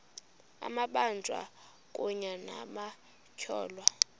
amabanjwa kunye nabatyholwa